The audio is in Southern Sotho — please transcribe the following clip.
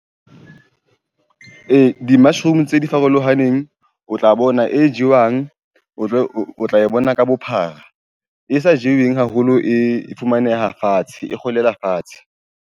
Ee di-mushroom tse di farolohaneng, o tla bona e jewang, o tla e bona ka bophara e sa jeweng haholo, e fumaneha fatshe, e kgolela fatshe.